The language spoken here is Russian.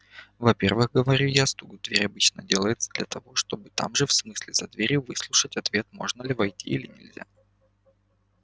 во-первых говорю я стук в дверь обычно делается для того чтобы там же в смысле за дверью выслушать ответ можно ли войти или нельзя